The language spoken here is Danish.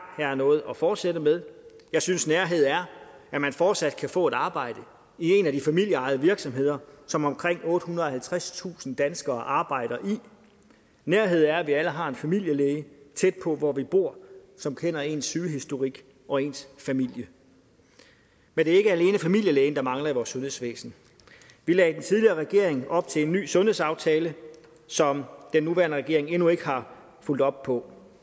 her er noget at fortsætte med jeg synes nærhed er at man fortsat kan få et arbejde i en af de familieejede virksomheder som omkring ottehundrede og halvtredstusind danskere arbejder i nærhed er at vi alle har en familielæge tæt på hvor vi bor som kender ens sygehistorik og ens familie men det er ikke alene familielægen der mangler i vores sundhedsvæsen vi lagde i den tidligere regering op til en ny sundhedsaftale som den nuværende regering endnu ikke har fulgt op på